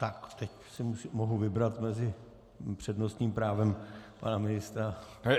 Tak teď si mohu vybrat mezi přednostním právem pana ministra...